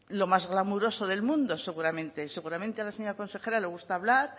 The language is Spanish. lo más clamoroso del mundo seguramente seguramente a la señora consejera le gusta hablar